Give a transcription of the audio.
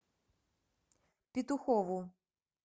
петухову